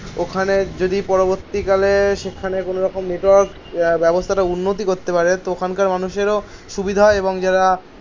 ওখানে যদি পরবর্তীকালে সেখানে কোন রকম নেটওয়ার্ক ব্যবস্থাটা উন্নতি করতে পারে. তো ওখানকার মানুষেরও সুবিধা হয় এবং যারা